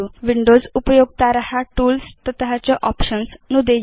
Windows उपयोक्तार tools तत च आप्शन्स् नुदेयु